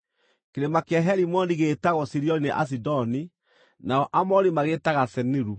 (Kĩrĩma kĩa Herimoni gĩĩtagwo Sirioni nĩ Asidoni; nao Aamori magĩĩtaga Seniru.)